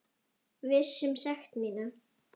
Viss um sekt mína.